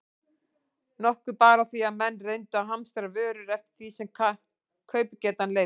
Nokkuð bar á því, að menn reyndu að hamstra vörur eftir því sem kaupgetan leyfði.